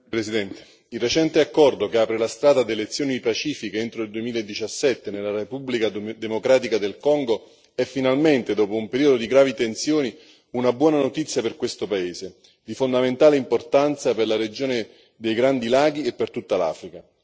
Signor Presidente, onorevoli colleghi, il recente accordo che apre la strada ad elezioni pacifiche entro il 2017 nella Repubblica democratica del Congo è, finalmente, dopo un periodo di gravi tensioni, una buona notizia per questo paese di fondamentale importanza per la regione dei Grandi Laghi e per tutta l'Africa.